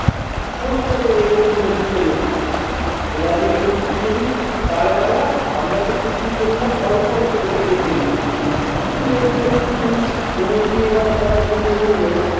ফোঁস করে রেগে উঠল বিশের ওপরে। তোরা যে চুগলি করিস তার বেলা? আমরা তো চুগলি করি না, অল্প অল্প দেখে দেখে লেখি। বিশে যেনো একটু নড়ে গিয়ে এবার কথা ঘুরিয়ে বললো-